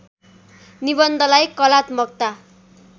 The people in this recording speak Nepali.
निबन्धलाई कलात्मकता